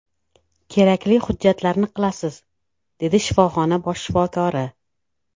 Kerakli hujjatlarni qilasiz”, dedi shifoxona bosh shifokori.